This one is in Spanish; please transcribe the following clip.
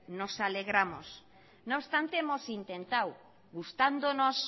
nos alegramos no obstante hemos intentado gustándonos